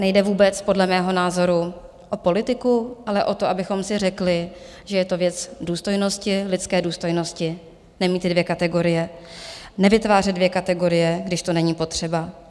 Nejde vůbec podle mého názoru o politiku, ale o to, abychom si řekli, že je to věc důstojnosti, lidské důstojnosti, nemít ty dvě kategorie, nevytvářet dvě kategorie, když to není potřeba.